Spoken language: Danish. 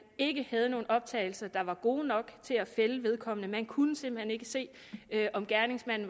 ikke havde nogen optagelser der var gode nok til at finde vedkommende man kunne simpelt hen ikke se om gerningsmanden